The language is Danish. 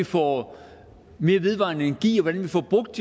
få mere vedvarende energi og hvordan vi får brugt